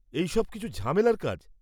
-এইসব কিছু ঝামেলার কাজ।